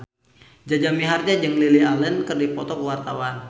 Jaja Mihardja jeung Lily Allen keur dipoto ku wartawan